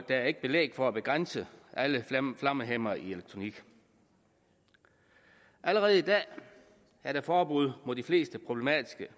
er ikke belæg for at begrænse alle flammehæmmere i elektronik allerede i dag er der forbud mod de mest problematiske